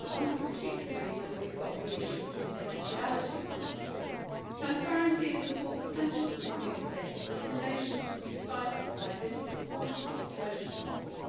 I wonder particularly whether we have got the issue of confidentiality right. Transparency is, of course, essential for consumer safety but innovation could be stifled by disproportionate disclosure demands.